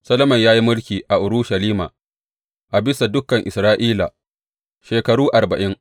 Solomon ya yi mulki a Urushalima a bisa dukan Isra’ila shekaru arba’in.